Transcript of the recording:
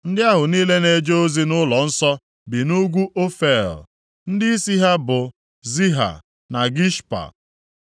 Ndị ahụ niile na-eje ozi nʼụlọnsọ bi nʼugwu Ofel. Ndịisi ha bụ Ziha na Gishpa.